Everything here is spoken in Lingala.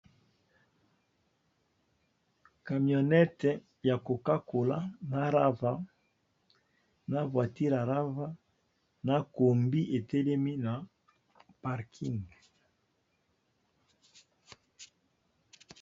camionete ya kokakola na rava na voitire arava na kombi etelemi na parking